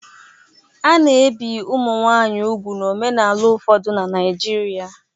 A na-ebi ụmụ nwaanyị úgwù n'omenala ụfọdụ na Naịjirịa.